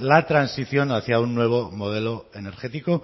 la transición hacia un nuevo modelo energético